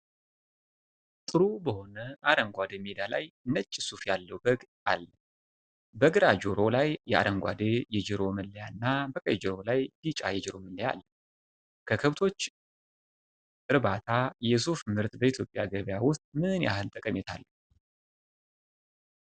ጥሩ በሆነ አረንጓዴ ሜዳ ላይ ነጭ ሱፍ ያለው በግ አል። በግራ ጆሮው ላይ የአረንጓዴ የጆሮ መለያ እና በቀኝ ጆሮው ላይ ቢጫ የጆሮ መለያ አለ ፡፡ከከብቶች እርባታ የሱፍ ምርት በኢትዮጵያ ገበያ ውስጥ ምን ያህል ጠቀሜታ አለው?